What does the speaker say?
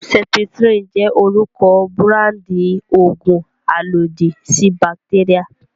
Septrin jẹ́ orúkọ búráńdì òògùn alòdì sí bàtéríà.